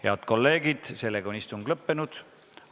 Head kolleegid, istung on lõppenud.